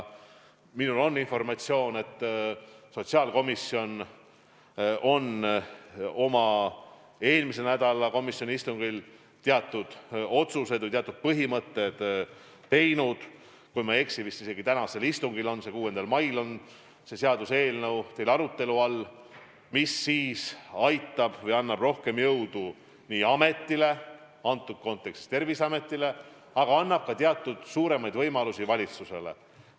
Mul on informatsiooni, et sotsiaalkomisjon tegi oma eelmise nädala istungil otsuse, et tänasel istungil ehk 6. mail on arutelu all seaduseelnõu, mis annab rohkem jõudu praeguses kontekstis Terviseametile, aga annab ka teatud suuremaid võimalusi valitsusele.